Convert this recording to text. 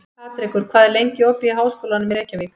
Patrekur, hvað er lengi opið í Háskólanum í Reykjavík?